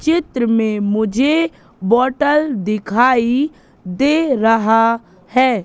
चित्र में मुझे बॉटल दिखाई दे रहा है।